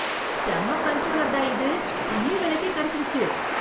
செம்ம கன்ட்ரோலர் டா இது. கம்மி விலைக்கே கிடைச்சிடுச்சு.